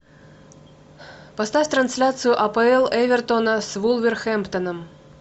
поставь трансляцию апл эвертона с вулверхэмптоном